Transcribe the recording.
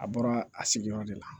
A bɔra a sigiyɔrɔ de la